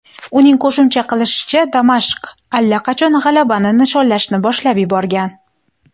Uning qo‘shimcha qilishicha, Damashq allaqachon g‘alabani nishonlashni boshlab yuborgan .